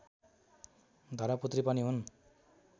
धर्मपुत्री पनि हुन्